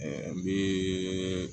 n bɛ